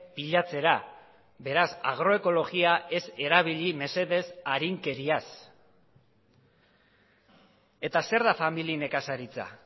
pilatzera beraz agroekologia ez erabili mesedez arinkeriaz eta zer da famili nekazaritza